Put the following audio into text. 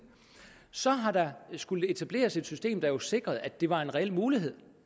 så har der skullet etableres et system der jo sikrede at det var en reel mulighed